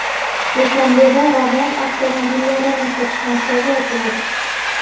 Dushanbeda Ravon avtomobillarini sotish markazi ochiladi.